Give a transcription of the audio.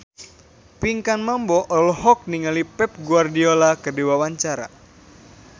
Pinkan Mambo olohok ningali Pep Guardiola keur diwawancara